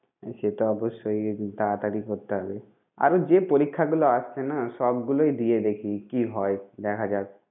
সেটা অবশ্যই একটু তাড়াতাড়ি করতে হবে। আরো যে পরীক্ষাগুলো আসছে না সবগুলোই দিয়ে দেখি কি হয়? দেখা যাক